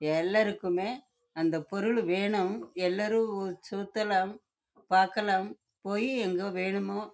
எல்லாருக்குமே அந்த பொருள் வேணும் எங்க வேணும் நாளும் சுத்தலாம்